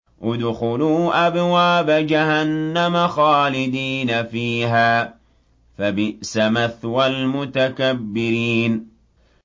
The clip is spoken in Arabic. ادْخُلُوا أَبْوَابَ جَهَنَّمَ خَالِدِينَ فِيهَا ۖ فَبِئْسَ مَثْوَى الْمُتَكَبِّرِينَ